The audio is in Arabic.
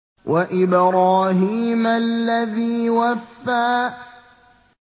وَإِبْرَاهِيمَ الَّذِي وَفَّىٰ